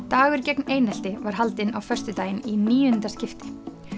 dagur gegn einelti var haldinn á föstudaginn í níunda skipti